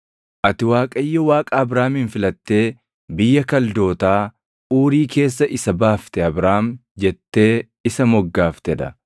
“Ati Waaqayyo Waaqa Abraamin filattee biyya Kaldootaa Uuri keessa isa baaftee Abrahaam jettee isa moggaaftee dha.